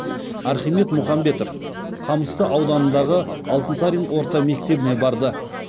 архимед мұхамбетов қамысты ауданындағы алтынсарин орта мектебіне барды